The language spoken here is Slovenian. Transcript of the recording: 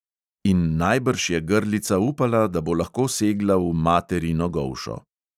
In najbrž je grlica upala, da bo lahko segla v materino golšo.